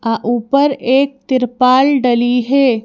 ऊपर एक त्रिपाल डली है।